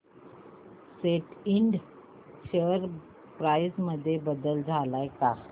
सॅट इंड share price मध्ये बदल आलाय का